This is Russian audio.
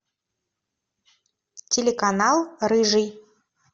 телеканал рыжий